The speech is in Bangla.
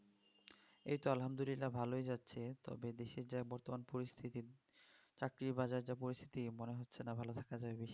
এই তো আলহামদুল্লিলা ভালই যাচ্ছে তবে দেশের যা বর্তমান পরিস্থিতি চাকরির বাজারের যা পরিস্থিতি মনে হচ্ছে না ভালো থাকা যাবে বেশিদিন